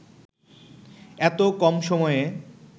এতো কম সময়ে